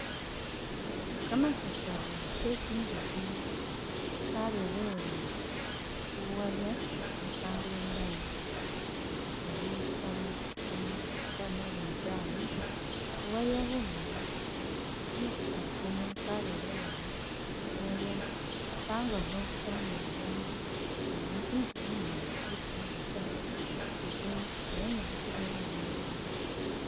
Kamasasari ke tsinzukhi karerewere khu buwaya ubwi pangile mu line, kamasasari Kali ka nabinzali buwaya bumali kamasasari Kano karerewere khu buwaya upangakho busa ni ba bandu sili i tsushi inyene i panga ta itsushi nga yanyalisile yamayo yingisa.